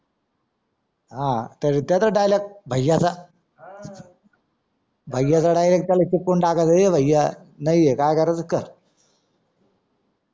हान त्याचा dialogue भैयाचा हां भैयाचा direct त्याला चिपकून टाकायचा ए भैया नैये आहे काय करायचा कर